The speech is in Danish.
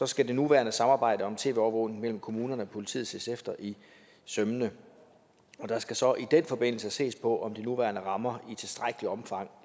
skal det nuværende samarbejde om tv overvågning mellem kommunerne og politiet ses efter i sømmene der skal så i den forbindelse ses på om de nuværende rammer i tilstrækkeligt omfang